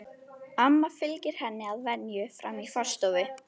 Amma fylgir henni að venju fram í forstofu.